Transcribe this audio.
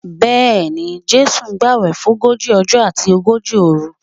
Bẹ́ẹ̀ni, Jésù gbàwẹ̀ fógójì ọjọ́ àti ogójì òru